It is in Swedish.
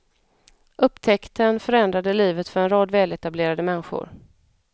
Upptäckten förändrar livet för en rad väletablerade människor.